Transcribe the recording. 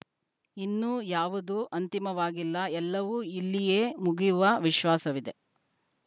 ಇನ್ನೂ ಯಾವುದೂ ಅಂತಿಮವಾಗಿಲ್ಲ ಎಲ್ಲವೂ ಇಲ್ಲಿಯೇ ಮುಗಿಯುವ ವಿಶ್ವಾಸವಿದೆ